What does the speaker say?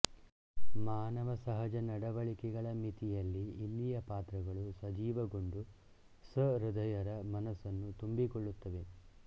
ಮಾನವಸಹಜ ನಡವಳಿಕೆಗಳ ಮಿತಿಯಲ್ಲಿ ಇಲ್ಲಿಯ ಪಾತ್ರಗಳು ಸಜೀವಗೊಂಡು ಸಹೃದಯರ ಮನಸ್ಸನ್ನು ತುಂಬಿಕೊಳ್ಳುತ್ತವೆ